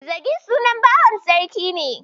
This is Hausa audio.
Zagi sunan bawan Sarki ne.